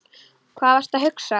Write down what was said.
Hvað varstu að hugsa?